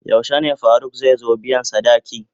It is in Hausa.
Yaushe ne Faruk zai zo biyan sadaki?